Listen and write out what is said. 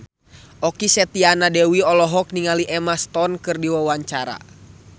Okky Setiana Dewi olohok ningali Emma Stone keur diwawancara